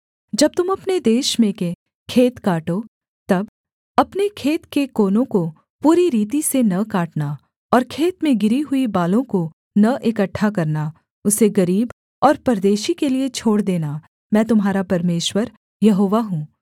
जब तुम अपने देश में के खेत काटो तब अपने खेत के कोनों को पूरी रीति से न काटना और खेत में गिरी हुई बालों को न इकट्ठा करना उसे गरीब और परदेशी के लिये छोड़ देना मैं तुम्हारा परमेश्वर यहोवा हूँ